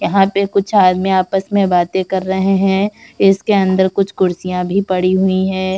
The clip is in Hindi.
यहां पर कुछ आदमी आपस मे बाते कर रहे है। इसके अंदर कुछ कुर्सियां भी पड़ी हुई है।